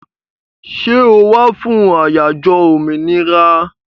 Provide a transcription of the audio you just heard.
Ṣẹ́ o wá fún àyájó òmìnira?